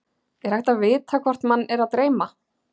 Er hægt að vita hvort mann er að dreyma?